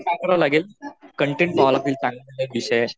काय करावं लागेल कन्टेन्ट विषयाशी